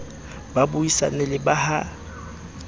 ba buisane le ba ha